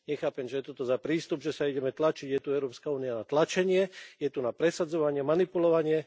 Nechápem, čo je toto za prístup, že sa ideme tlačiť, je tu Európska únia na tlačenie, je tu na presadzovanie, manipulovanie?